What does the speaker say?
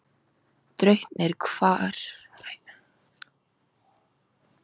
Draupnir, hvað er á áætluninni minni í dag?